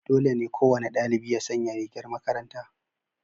Dole ne kowane dalibi ya sanya rigar makaranta.